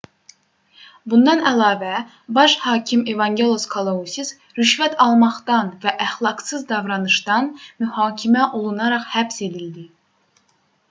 bundan əlavə baş hakim evangelos kalousis rüşvət almaqdan və əxlaqsız davranışdan mühakimə olunaraq həbs edildi